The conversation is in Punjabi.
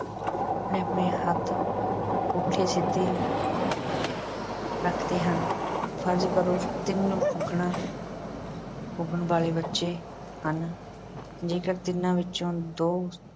ਆਪਣੇ-ਆਪਣੇ ਹੱਥ ਪੁੱਠੇ- ਸਿੱਧੇ ਰੱਖਦੇ ਹਨ। ਫ਼ਰਜ਼ ਕਰੋ, ਤਿੰਨ ਪੁੱਗਣਾ ਪੁੱਗਣ ਵਾਲੇ ਬੱਚੇ ਹਨ। ਜੇਕਰ ਤਿੰਨਾਂ ਵਿੱਚੋਂ ਦੇ